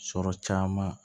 Sɔrɔ caman